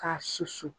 K'a susu